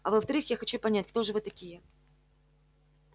а во-вторых я хочу понять кто же вы такие